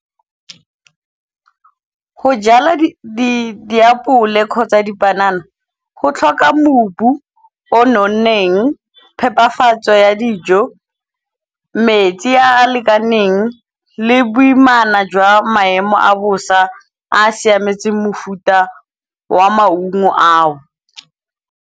Ho jala diapole kgotsa dipanana go tlhoka mobu o nonneng, phepafatso ya dijo, metsi a a lekaneng le boimana jwa maemo a bosa a a siametseng mofuta wa maungo ao.